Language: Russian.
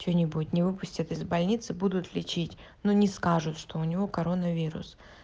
что-нибудь не выпустят из больницы будут лечить но не скажут что у него коронавирус